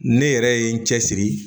Ne yɛrɛ ye n cɛsiri